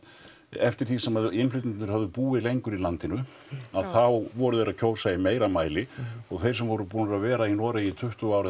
eftir því sem innflytjendurnir höfðu búið lengur í landinu að þá voru þeir að kjósa í meira mæli og þeir sem voru búnir að vera í Noregi í tuttugu ár eða